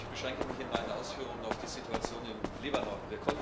Ich beschränke mich in meinen Ausführungen auf die Situation im Libanon.